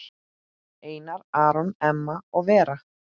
Einar Aron, Emma og Vera.